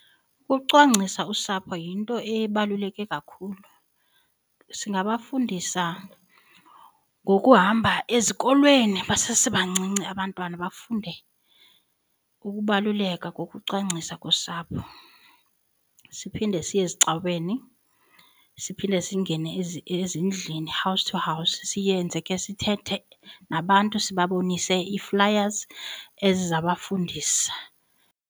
Ucwangcisa usapho yinto ebaluleke kakhulu singafundisa ngokuhamba ezikolweni basesebancinci abantwana bafunde ukubaluleka kokucwangcisa kosapho, siphinde siye ezicaweni siphinde singene ezi ezindlini house to house siyenze ke sithethe nabantu sibabonise flyers eziza bafundisa